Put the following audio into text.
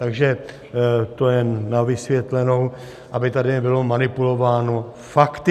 Takže to jen na vysvětlenou, aby tady nebylo manipulováno fakty.